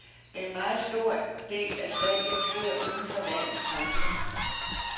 En meget stor del af salget sker uden for landets grænser.